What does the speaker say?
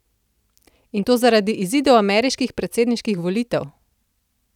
In to zaradi izidov ameriških predsedniških volitev!